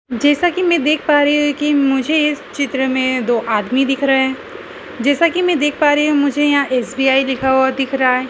जैसा कि मैं देख पा रही हूं कि मुझे इस चित्र में दो आदमी दिख रहे हैं जैसा कि मैं देख पा रही हूं मुझे यहां एस_बी_आई लिखा हुआ दिख रहा है।